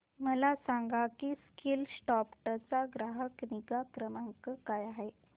मला सांग की स्कीलसॉफ्ट चा ग्राहक निगा क्रमांक काय आहे